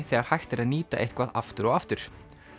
þegar hægt er að nýta eitthvað aftur og aftur